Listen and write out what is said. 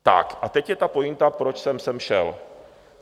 Tak, a teď je ta pointa, proč jsem sem šel.